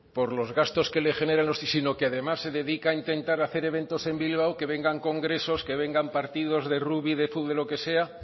por los gastos que le generan sino que además se dedica a intentar hacer eventos en bilbao que vengan congresos que vengan partidos de rugby de fútbol de lo que sea